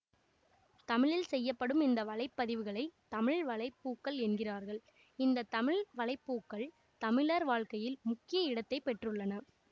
தமிழில் செய்யப்படும் இந்த வலைப்பதிவுகளைத் தமிழ் வலை பூக்கள் என்கிறார்கள் இந்த தமிழ் வலை பூக்கள் தமிழர் வாழ்க்கையில் முக்கிய இடத்தை பெற்றுள்ளன